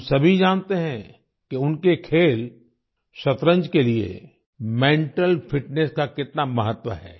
हम सभी जानते हैं कि उनके खेल शतरंज के लिए मेंटल फिटनेस का कितना महत्व है